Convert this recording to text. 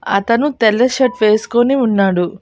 అతను తెల్ల షర్ట్ వేసుకొని ఉన్నాడు.